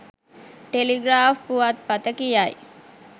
Telegraph පුවත් පත කියයි.